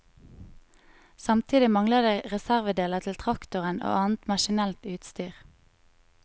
Samtidig mangler det reservedeler til traktorer og annet maskinelt utstyr.